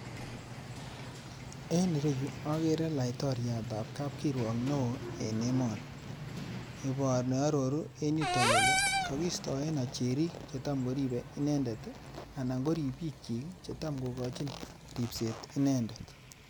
En ireyu, okere laitoryatab kapkiruok neo en emoni. Nearoru en yuto kele, kokiistoen ocherik chetamkoribe inendet anan koribikyik chetamkokachin ribset inendet.